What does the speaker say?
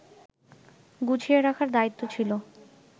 গুছিয়ে রাখার দায়িত্ব ছিল